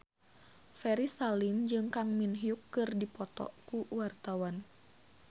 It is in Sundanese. Ferry Salim jeung Kang Min Hyuk keur dipoto ku wartawan